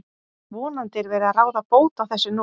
Vonandi er verið að ráða bót á þessu nú.